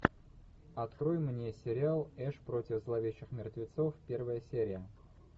открой мне сериал эш против зловещих мертвецов первая серия